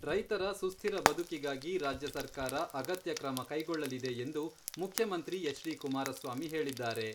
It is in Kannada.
ರೈತರ ಸುಸ್ಥಿರ ಬದುಕಿಗಾಗಿ ರಾಜ್ಯ ಸರ್ಕಾರ ಅಗತ್ಯ ಕ್ರಮ ಕೈಗೊಳ್ಳಲಿದೆ ಎಂದು ಮುಖ್ಯಮಂತ್ರಿ ಎಚ್.ಡಿ.ಕುಮಾರಸ್ವಾಮಿ ಹೇಳಿದ್ದಾರೆ.